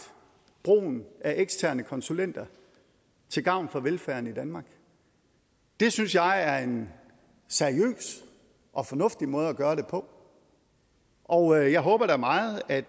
brugen af eksterne konsulenter til gavn for velfærden i danmark det synes jeg er en seriøs og fornuftig måde at gøre det på og jeg håber da meget at